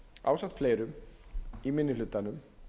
ásamt fleirum í minni hlutanum